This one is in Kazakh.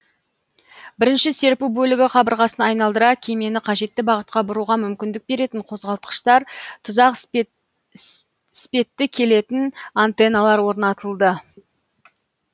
бірінші серпу бөлігі қабырғасын айналдыра кемені қажетті бағытқа бұруға мүмкіндік беретін қозғалтқыштар тұзақ іспетті келетін аннтеналар орнатылды